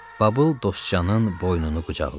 Babul Dostcanın boynunu qucaqladı.